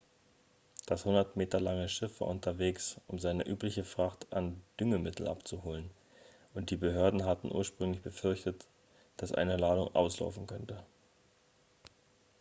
das 100 meter lange schiff war unterwegs um seine übliche fracht an düngemitteln abzuholen und die behörden hatten ursprünglich befürchtet dass eine ladung auslaufen könnte